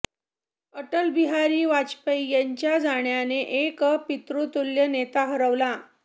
अटलबिहारी वाजपेयी यांच्या जाण्याने एक पित्रुतुल्य् नेता हरवला